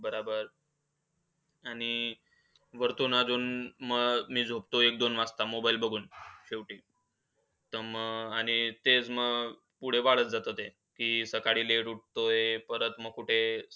बराबर आणि वरतून आजून मग मी झोपतोय एक-दोन वाजता mobile बघून शेवटी. तर मग आणि तेच मग पुढं वाढत जातं ते. की सकाळी LET उहतोय. परत मग कुठे